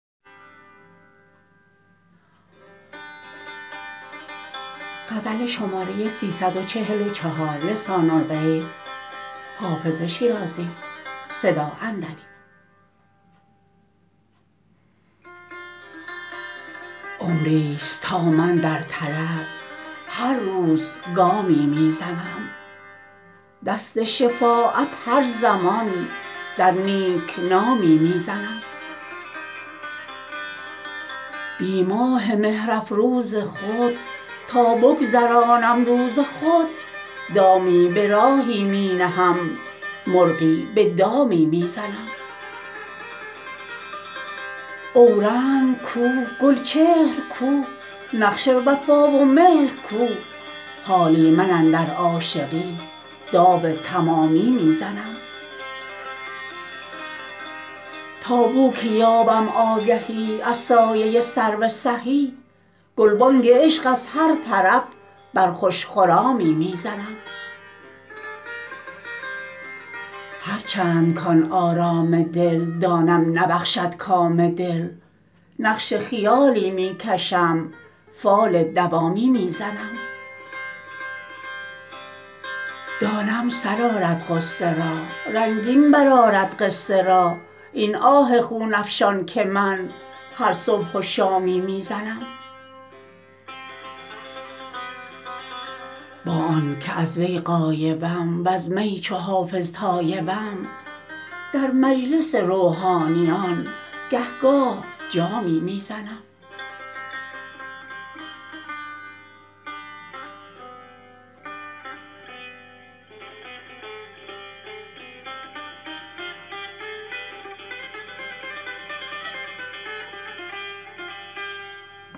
عمریست تا من در طلب هر روز گامی می زنم دست شفاعت هر زمان در نیک نامی می زنم بی ماه مهرافروز خود تا بگذرانم روز خود دامی به راهی می نهم مرغی به دامی می زنم اورنگ کو گلچهر کو نقش وفا و مهر کو حالی من اندر عاشقی داو تمامی می زنم تا بو که یابم آگهی از سایه سرو سهی گلبانگ عشق از هر طرف بر خوش خرامی می زنم هرچند کـ آن آرام دل دانم نبخشد کام دل نقش خیالی می کشم فال دوامی می زنم دانم سر آرد غصه را رنگین برآرد قصه را این آه خون افشان که من هر صبح و شامی می زنم با آن که از وی غایبم وز می چو حافظ تایبم در مجلس روحانیان گه گاه جامی می زنم